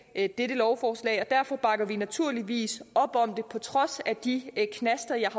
dette lovforslag og derfor bakker vi naturligvis op om det på trods af de knaster jeg